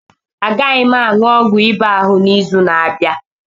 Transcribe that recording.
A gaghị m a ṅụọ ọgwụ ịba ahụ n'izu na-abịa.